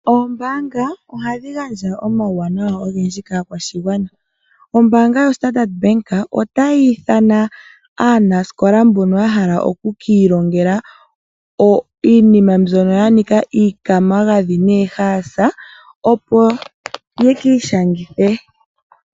Ombaanga ohadhi gandja omauwanawa ogendji kaakwashigwana. Ombaanga yoStandard Bank otayi ithana aanasikola mbono ya hala oku kiilongela iinima mbyoka ya nika okwiimagadhi noohaasa opo ye kiishangithe.